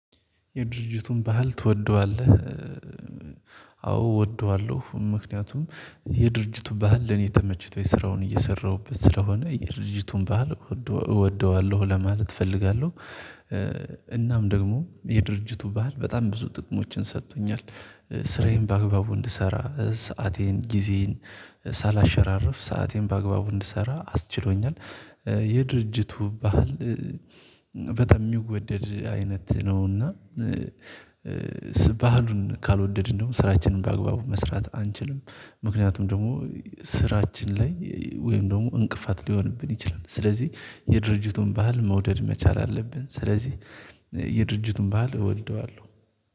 የድርጅቱን ባህል ትወደዋለህ? አዎ እወደዋለሁ ምክንያቱም የድርጅቱ ባህል ለኔ ተመችቶኝ ስራውን እየሰራሁበት ስለሆነ የድርጅቱን ባህል እወደዋለሁ ለማለት እፈልጋለሁ። እናም ደግሞ የድርጅቱ ባህል በጣም ብዙ ጥቅሞችን ሰጥቶኛል። ስራዬን በአግባቡ እንድሰራ ሰአቴን ጊዜዬን ሳላሸራርፍ ሰአቴን በአግባቡ እንድሰራ አስችሎኛል። የድርጅቱ ባህል በተለይ ሚወደድ አይነት ነውና። በሃሉን ካልወደድን ደግሞ ስራችንን በአግባቡ መስራት አንችልም። ምክንያቱም ደግሞ ስራችን ላይ ወይም ደግሞ እንቅፋት ሊሆንብን ይችላል። ስለዚህ የድርጅቱን ባህል መውደድ መቻል አለብን። ስለዚህ የድርጅቱን ባህል እወደዋለሁ